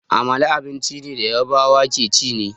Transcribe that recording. Amala abincin da Yarbawa ke ci ne.